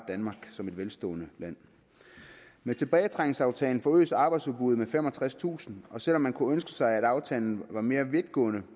danmark som et velstående land med tilbagetrækningsaftalen forøges arbejdsudbuddet med femogtredstusind og selv om man kunne ønske sig at aftalen var mere vidtgående